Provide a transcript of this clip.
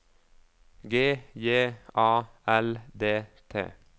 G J A L D T